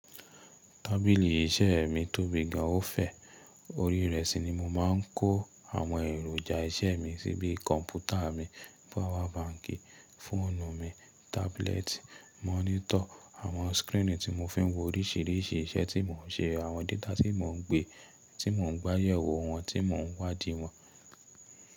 Tábìlì iṣẹ́ mi tóbi gan an ó fẹ̀ Orí rẹ̀ sí ni mo má ń kó àwọn èròjà iṣẹ́ mi síbí: kọ̀mpútà mi, pawa banki, fóònù mi, tábúlẹ́ẹ̀tì, mọ́nítọ̀ àwọn skírìnnì tí mo fi ń wo oríṣìíríṣìí iṣẹ́ tí mò ń ṣe, àwọn data tí mò ń gbé, tí mò ń gbé'yẹwo wọn, tí mò ń wádìí wọn.